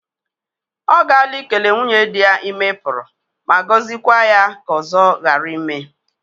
O gala ikele nwunye di ya ime Puru ma gozikwa ya ka ozo gara ime.